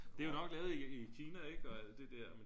det er jo nok lavet i Kina ik og det der